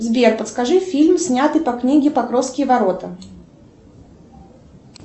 сбер подскажи фильм снятый по книге покровские ворота